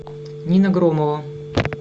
нина громова